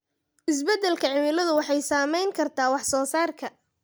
Isbeddelka cimiladu waxay saameyn kartaa wax soo saarka